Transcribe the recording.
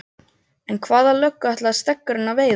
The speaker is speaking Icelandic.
En hvaða löggu ætlaði Steggurinn að veiða?